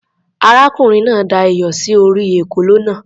Arákùnrin náà da iyọ̀ sí orí ekòló náà.